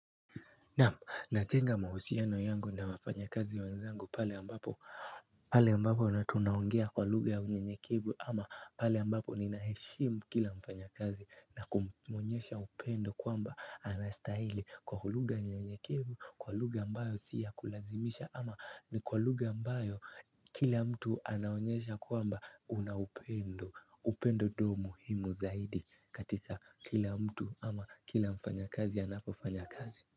Naam, najenga mahusiano yangu na wafanyakazi wenzangu pale ambapo pale ambapo na tunaongea kwa lugha ya unyenyekevu ama pale ambapo ninaheshimu kila mfanyakazi na kumwonyesha upendo kwamba anastahili kwa lugha nyekevu kwa lugha ambayo si ya kulazimisha ama ni kwa lugha ambayo kila mtu anaonyesha kwamba una upendo, upendo dumu muhimu zaidi katika kila mtu ama kila mfanyakazi anapofanya kazi.